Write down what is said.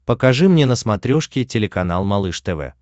покажи мне на смотрешке телеканал малыш тв